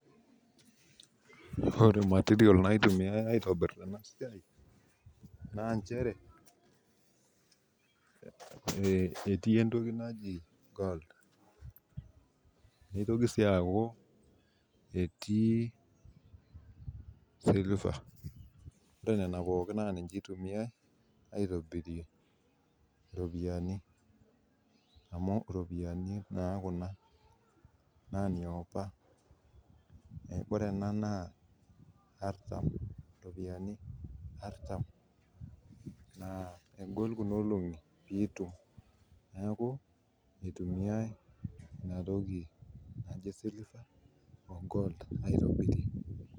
Ore material naitumiyiai aitobir ena siai naa nchere ,etii entoki naji gold neitoki sii atii entoki naji silver ore nena pookin naa niche eitumiyia aitobirie ropiyiani amu ropiyiani naa Kuna naa niapa ,ore enaa naa ropiyiani artam naa egol Kuna olongi pee itum ,neeku eitumiyae ena toki naji silver o gold aitobirie.